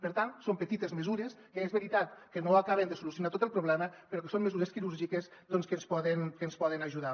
per tant són petites mesures que és veritat que no acaben de solucionar tot el problema però que són mesures quirúrgiques doncs que ens poden ajudar